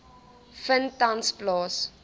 vind tans plaas